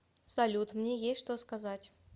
салют мне есть что сказать